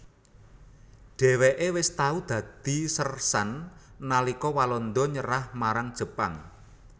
Dhèwèké wis tau dadi sérsan nalika Walanda nyerah marang Jepang